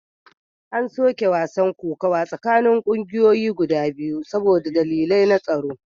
An soke gasar kokawa tsakanin kungiyoyi biyu saboda dalilai na tsaro